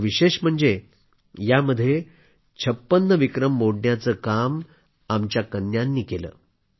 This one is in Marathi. आणि विशेष म्हणजे यामध्ये 56 विक्रम मोडण्याचे काम तर आमच्या कन्यांनी केलं